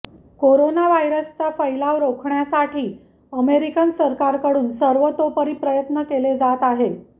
corona व्हायरसचा फैलाव रोखण्यासाठी अमेरिकन सरकारकडून सर्वतोपरी प्रयत्न केले जात आहे